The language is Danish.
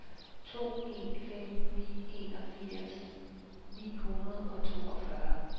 to en fem ni enogfirs ni hundrede og toogfyrre